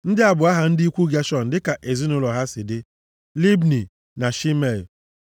Ndị a bụ aha ndị ikwu Geshọn dịka ezinaụlọ ha si dị: Libni na Shimei.